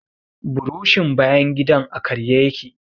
Burushin bayan gidan a karye ya ke.